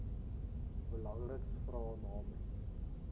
belangriks vra namens